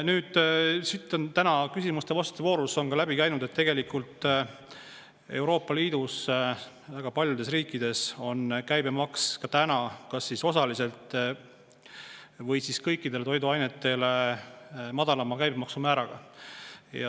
Nüüd, siit on täna küsimuste-vastuste voorus läbi käinud, et tegelikult on Euroopa Liidus väga paljudes riikides käibemaks kas siis osaliselt või kõikidel toiduainetel madalama maksumääraga.